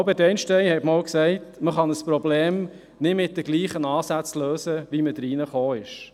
Albert Einstein hat einmal gesagt, man könne ein Problem nicht mit denselben Ansätzen lösen, mit denen man in das Problem hineingeraten sei.